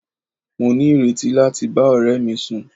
Mo ní ìrètí láti bá ọ̀rẹ́ mi sùn.